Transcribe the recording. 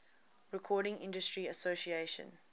recording industry association